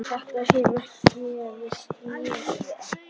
Þetta hefur gefist mjög vel.